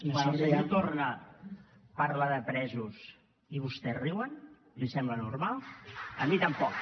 quan el senyor torra parla de presos i vostès riuen li sembla normal a mi tampoc